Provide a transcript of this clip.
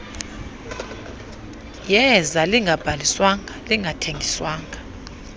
yeza lingabhaliswanga lingathengiswa